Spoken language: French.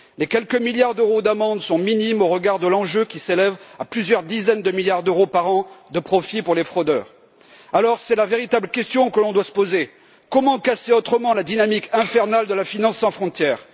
Les quelques milliards d'euros d'amendes sont minimes au regard de l'enjeu qui s'élève à plusieurs dizaines de milliards d'euros par an de profit pour les fraudeurs. La véritable question que l'on doit se poser est celle de savoir comment casser la dynamique infernale de la finance sans frontières.